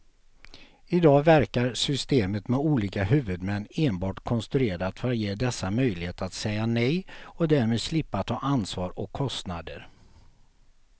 I dag verkar systemet med olika huvudmän enbart konstruerat för att ge dessa möjlighet att säga nej och därmed slippa ta ansvar och kostnader.